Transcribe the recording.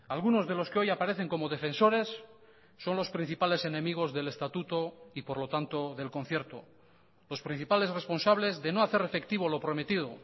algunos de los que hoy aparecen como defensores son los principales enemigos del estatuto y por lo tanto del concierto los principales responsables de no hacer efectivo lo prometido